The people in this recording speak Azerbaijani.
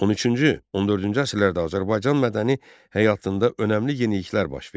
13-cü-14-cü əsrlərdə Azərbaycan mədəni həyatında önəmli yeniliklər baş verdi.